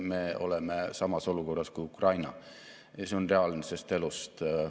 Selle taseme saavutamiseks on üks võtmetest hoida riigi teadus- ja arenduskulud vähemalt 1% peal, mida me ka teeme.